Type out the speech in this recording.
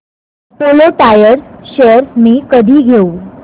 Apollo Tyres shares मी कधी घेऊ